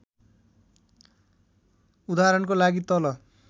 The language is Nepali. उदाहरणको लागि तल